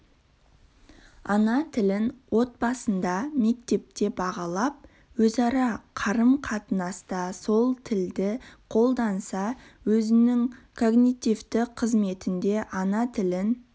ана тілін отбасында мектепте бағалап өзара қарым-қатынаста сол тілді қолданса өзінің когнитивті қызметінде ана тілін